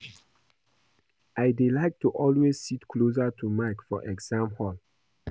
I dey like to always sit close to Mike for exam hall